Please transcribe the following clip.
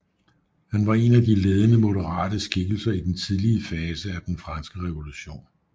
Han var en af de ledende moderate skikkelser i den tidlige fase af den Franske Revolution